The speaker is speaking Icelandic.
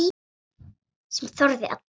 Sem þorði að deyja!